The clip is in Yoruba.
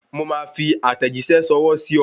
Mo máa fi àtẹ̀jíṣẹ́ ṣọwọ́ sí ọ